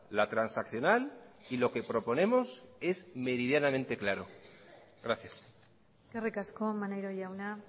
la transaccional y lo que proponemos es meridianamente claro gracias eskerrik asko maneiro jauna